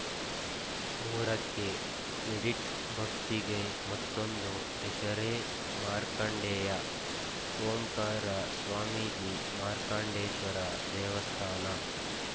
ಮೂರಕ್ಕೆ ಎಡಿಟ್‌ ಭಕ್ತಿಗೆ ಮತ್ತೊಂದು ಹೆಸರೇ ಮಾರ್ಕಂಡೇಯ ಓಂಕಾರ ಸ್ವಾಮೀಜಿ ಮಾರ್ಕಂಡೇಶ್ವರ ದೇವಸ್ಥಾನ